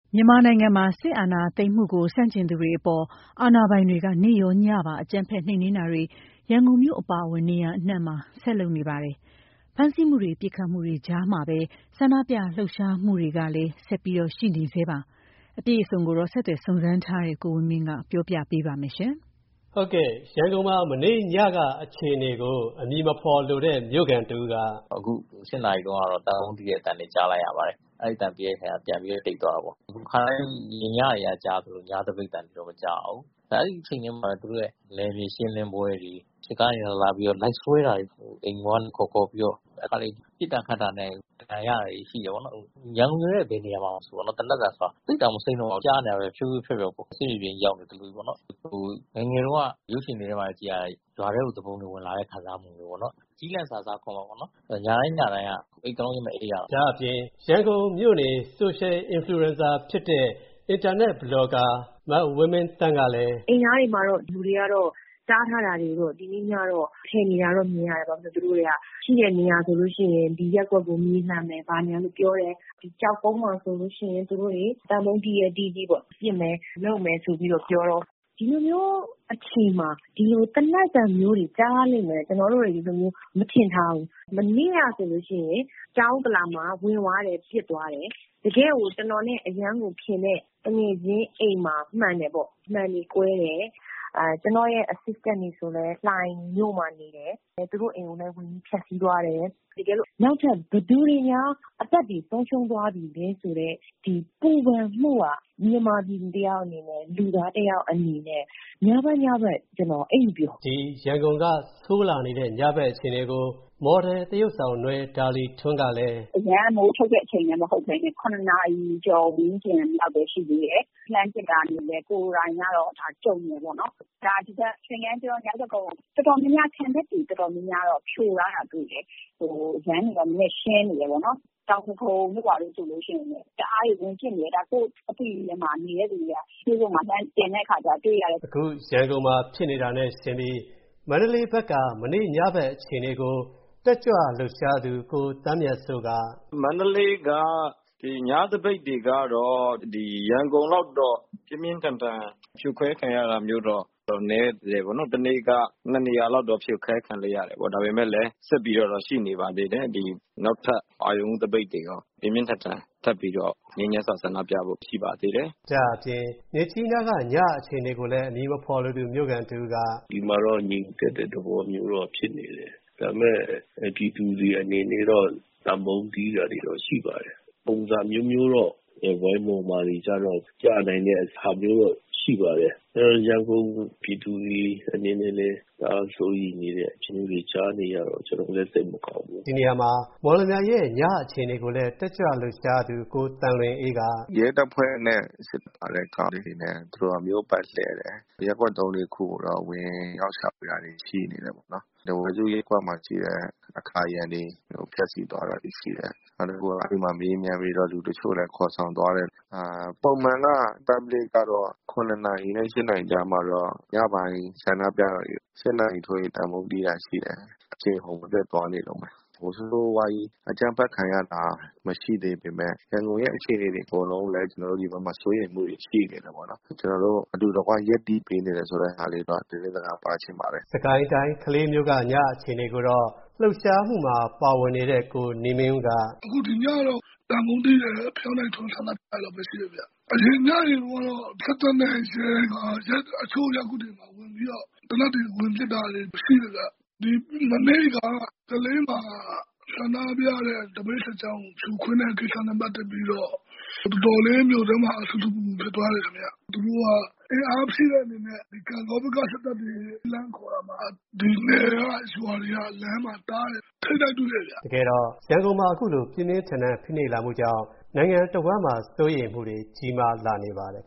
မြန်မာနိုင်ငံမှာ စစ်အာဏာသိမ်းမှုကို ဆန့်ကျင်သူတွေအပေါ် အာဏာပိုင်တွေက နေ့ရော၊ ညပါ အကြမ်းဖက် နှိမ်နင်းတာတွေ ရန်ကုန်မြို့ အပါအဝင် နေရာအနှံ့မှာ ဆက်လုပ်နေပါတယ်။ ဖမ်းဆီးမှုတွေ ပစ်ခတ်မှုတွေကြားမှာပဲ ဆန္ဒပြလှုပ်ရှားမှုတွေလည်း ရှိနေဆဲပါ။ အပြည့်အစုံကိုတော့ ဆက်သွယ်စုံစမ်းထားတဲ့ ကိုဝင်းမင်းက ပြောပြပေးပါမယ်။ ရန်ကုန်မှာ မနေ ့ညက အခြေအနေကို အမည်မဖော်လိုတဲ့မြို့ခံတဦးက “ အခု ၈ နာရီတုန်းကတော့ သံပုံးတီးတဲ့ အသံတွေ ကြားလိုက်ရပါတယ်။ အဲဒီအသံပြီးတဲ့ ခါကျတော့ ပြန်ပြီးတော့ တိတ်သွားတာပေါ့။ ခါတိုင်း ညတွေက ကြားရသလို ညသပိတ်အသံတွေတော့ မကြားရဘူး။ အဲဒီအချိန်ထဲမှာတော့ သူတို့ရဲ့ နယ်မြေရှင်းလင်းတဲ့ပွဲတွေ၊ စစ်ကားတွေနဲ့လာပြီးတော့ လိုက်ဆွဲတာတွေ၊ အိမ်ပေါ်ကနေ ခေါ်ခေါ်ပြီးတော့။ တခါတလေ ပစ်တာခတ်တာနဲ့ဒဏ်ရာရတာတွေ ရှိတယ်ပေါ့နော်။ အခု ရန်ကုန်မြို့ရဲ့ဘယ်နေရာမဆို သိပ်ကို မစိမ်းတော့ဘူး။ သေနတ်သံဆိုတာကြားနေရတာပဲ။ ဖြိုးဖြိူးဖြောက်ဖြောက်ပေါ့နော်။ ငယ်ငယ်တုန်းက ရုပ်ရှင်ထဲမှာ ကြည့်ရတဲ့ ရွာထဲကို သူပုန်တွေဝင်လာတဲ့ ခံစားမှုမျိူးပေါ့နော်။ ကျီးလန့်စာ စားခေါ်မှာပေါ့နော်။ ညတိုင်း ညတိုင်းက အိပ်ကောင်းခြင်း မအိပ်ရဘူး။” လို့ဆိုပါတယ်။ ဒါ့ အပြင် ရန်ကုန်မြို့နေ social influencer ဖြစ်တဲ့ အင်တာနက် ဘလော်ကာ မဝင်းမင်းသန်း ကလည်း “ အိမ်နားမှာ လူတွေတားထားတာတွေကတော့ ဖယ်နေတာတော့ မြင်ရတယ်။ သူတို့တွေက ရှိတဲ့နေရာဆိုလို ့ရှိရင် သူတို့က ဒီရပ်ကွက်ကို မြေလှန်မယ် ဘာညာဆိုပြီးတော့ ပြောတယ်။ ကျောက်ကုန်းမှာဆိုလို့ရှိရင် သံပုံးတီးရဲတီးကြည့်ပေါ့။ ပစ်မယ်ဆိုပြီးတော့ ပြောတယ်။ ဒီလိုမျိူးအချိန်မှာ ဒီလို သေနတ်သံမျိူးတွေ ကြားရလိမ့်မယ်လို့ ကျနော်တို့တွေ မထင်ထားဘူး။ မနေ့ကဆိုလို့ရှိရင် တောင်ဥက္ကလာမှာ ဝင်သွားတယ်။ ပစ်သွားတယ်။ တကယ့်ကို ကျနော်နဲ့အရမ်းကိုခင်တဲ့ သူငယ်ချင်းအိမ်မှာ မှန်တယ်ပေါ့။ မှန်တွေကွဲတယ်။ ကျနော့်ရဲ့ Assistant တွေဆိုလည်း လှိုင်မြို့မှာနေတယ်။ သူတို့အိမ်တွေကိုလည်း ဝင်ပြီးတော့ ဖျက်ဆီးသွားတယ်။ နောက်ထပ် ဘယ်သူတွေများ အသက်တွေဆုံးရှုံးသွားပြီလဲဆိုတဲ့ ဒီပူပန်မှုဟာ မြန်မာပြည်သူတယောက်အနေနဲ့၊ လူသားတယောက်အနေနဲ့၊ ညဘက် ညဘက် ကျနော် အိပ်မပျော်ဘူး” ဒါ့အပြင် ရန်ကုန်က ဆိုးလာနေတဲ့ ညဘက် အခြေအနေကို မော်ဒယ်သရုပ်ဆောင် နွယ်ဒါလီထွန်းကလည်း “ အရမ်းမိုးချုပ်တဲ့ အချိန်လည်းမဟုတ်ပဲနဲ့၇ နာရီကျော် ဝန်းကျင်လောက်ပဲရှိသေးတယ်။ လှမ်းပစ်တာမြင်တယ်။ ကိုယ်တိုင်ကလည်း ကြုံတယ်ပေါ့နော်။ သင်္ကန်းကျွန်း၊ မြောက်တဂုံ ခံတပ်တွေ တော်တော်များများတော့ ဖြိုထားတာတော့ တွေ ့တယ်။ လမ်းတွေတော့ နည်းနည်းရှင်းနေတယ်ပေါ့နော်။ တောင်ဒဂုံတို့ဘာတို့ဆိုလို့ရှိရင်လည်း တအားကို ဝင်ပစ်နေတယ်။ ဒါ ကိုယ့်အသိတွေထဲမှာ မြင်တဲ့သူတွေက facebook မှာ လှမ်း တင်တဲ့အခါမှာကျတော့ တွေ့ရတယ်။” ရန်ကုန်မှာဖြစ်နေတာနဲ့ယှဉ်ပြီး မန္တလေးဘက်က မနေ့ညဘက်အခြေအနေကို တက်ကြွလှုပ်ရှားသူ ကို သန်းမြတ်စိုးက “ မန္တလေးက ညသပိတ်တွေကတော့ ရန်ကုန်က ညသပိတ်တွေကတော့ ရန်ကုန်လောက်တော့ ပြင်းပြင်းထန်ထန် ဖြိုခွဲခံရတာမျိူးတော့ နည်းတယ်ပေါ့နော်။ ဒါပေမယ့်လည်း ဆက်ပြီးတော့တော့ ရှိနေပါသေးတယ်။ ဆက်ပြီးတော့ပေါ့နော်။ နောက်ထပ် အရုဏ်ဦးသပိတ်တွေရော ထပ်ပြီးတော့ ပြင်းပြင်းထန်ထန် ဆန္ဒပြဖို့ရှိနေပါသေးတယ်။” ဒါ့အပြင် မြစ်ကြီးနားက ညအခြေအနေကိုလည်း မြို့ခံတဦးက “ ဒီမှာတော့ ငြိမ်သက်တဲ့ သဘောမျိူးတော့ဖြစ်နေတယ်။ ဒါပေမယ့် ပြည်သူတွေအနေနဲ့တော့ သံပုံးတီးတာတွေတော့ ရှိပါတယ်။ ပုံစံအမျိူးမျိူးတော့ ဝိုင်းမော်မှာတွေကတော့ ပြနိုင်တာတွေလည်း ရှိပါတယ်။ ရန်ကုန်ပြည်သူတွေအနေနဲ့လည်း တအားစိုးရိမ်တဲ့ အခြေအနေမျိူးတွေကျနော်လည်း ကြားနေရတော့ ကျနော်လည်း စိတ်မကောင်းဘူး”လို့ဆိုပါတယ်။ ဒီနေရာမှာ မော်လမြိုင်ရဲ့ ညအခြေအနေကိုလည်း တက်ကြွလှုပ်ရှားသူ ကိုသံလွင်အေးက “ ရဲတပ်ဖွဲ့နဲ့စစ်ကားတွေက မြို့ပတ်လှည့်တယ်။ ရပ်ကွက် သုံးလေးခုကိုတော့ ဝင်ရောက်ရှာဖွေတာတွေ ရှိနေတယ်ပေါ့နော်။ ထားဝယ်စုရပ်ကွက်မှာရှိတဲ့ အကာအရံတွေကို ဖျက်ဆီးသွားတာတွေ ရှိတယ်။ နောက်တခုက မေးမြန်းပြီးတော့ လူတချို့ကိုလည်း ခေါ်ဆောင်သွားတယ်။ Public ကတော့ ည ၈ နာရီထိုးရင် သံပုံးတီးတာတွေ ရှိတယ်။ အရှိန်အဟုတ်မပြတ်သွားနေတုန်းပဲ။ ဆိုးဆိုးဝါးဝါးကြီး အကြမ်းဖက်ခံရတာ မရှိသေးပေမယ့် ရန်ကုန်ရဲ့ အခြေအနေတွေအကုန်လုံးကိုလည်း ကျနော်တို့ဒီဘက်မှာ စိုးရိမ်မှုတွေ ရှိနေတယ်ပေါ့နော်။ ကျနော်တို့အတူတကွရပ်တည်ပေးနေတယ်ဆိုတဲ့ ဟာလေးကိုတော့ ကျနော်တို့သတင်းစကားပါးချင်ပါတယ်။” စစ်ကိုင်းတိုင်း ကလေးမြို့က ည အခြေအနေကိုတော့ လှုပ်ရှားမှုမှာ ပါဝင်နေတဲ့ ကိုနေမင်းဦးကလည်း “ အခု ဒီညတော့ သံပုံးတီးတာတွေ၊ ဖယောင်းတိုင်ထွန်းတာတွေတော့ မရှိဘူးခင်ဗျ။ အရင်ညတွေတုန်းကတော့ စစ်တပ်နဲ့ရဲတွေက တချို့ရပ်ကွက်တွေကို သေနတ်တွေနဲ့ဝင်ပစ်တာတွေ ရှိတယ်ဗျ။ မနေ့က ကလေးမှာ ဆန္ဒပြတဲ့ သပိတ်စစ်ကြောင်းကို ဖြိုခွဲတဲ့ ကိစ္စနဲ့ပက်သက်ပြီးတော့ တော်တော်လေး မြို့ထဲမှာ ဆူဆူပူပူ ဖြစ်သွားတယ်ခင်ဗျ။ သူတို့က အင်အားဖြည့်တဲ့ အနေနဲ့ ကန့်ဂေါဘက်က စစ်တပ်တွေ လှမ်းခေါ်တာမှာ ဒီနယ်က ရွာတွေက လမ်းမှာတားတယ်ခင်ဗျ။ ထိပ်တိုက်တွေ့တယ်ခင်ဗျ။” တကယ်တော့ ရန်ကုန်မှာ အခုလို ပြင်းပြင်းထန်ထန်ဖိနှိပ်လာမှုကြောင့် နိုင်ငံတဝှမ်းမှာ စိုးရိမ်မှုတွေ ကြီးမားလာနေပါတယ်